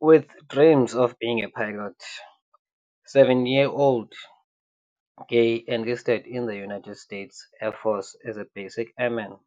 With dreams of being a pilot, 17-year-old Gaye enlisted in the United States Air Force as a basic airman.